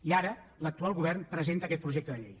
i ara l’actual govern presenta aquest projecte de llei